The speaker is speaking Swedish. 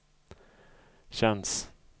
känns